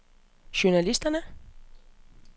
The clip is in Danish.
journalister